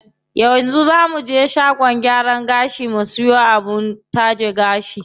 Yanzu zaa muje shagon gyaran gashi mu siyo abin taje gashi.